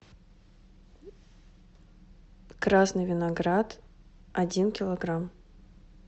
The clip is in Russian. красный виноград один килограмм